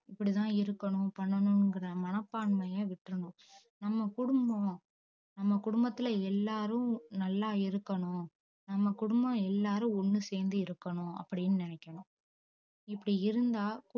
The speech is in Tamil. இப்படி தான் இருக்கணும் பண்ணனும்ங்குற மனப்பான்மைய விட்ரனும் நம்ப குடும்பம் நம்ப குடும்பத்துள்ள எல்லாரும் நல்லா இருக்கணும் நம்ப குடும்பம் எல்லாரும் ஒன்னு சேந்து இருக்கணும் அப்டின்னு நெனைக்கணும் இப்டி இருந்தா